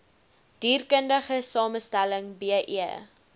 dierkundige samestelling be